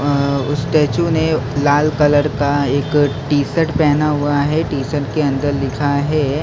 अं उस स्टैचू ने लाल कलर का एक टी_शर्ट पहना हुआ है टी_शर्ट के अंदर लिखा है--